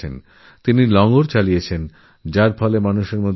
তিনি শুধু মুখেই একথা বলেননি নিজের জীবনে নিজের কাজেও তা পালনকরেছেন